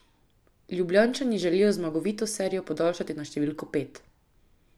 Ljubljančani želijo zmagovito serijo podaljšati na številko pet.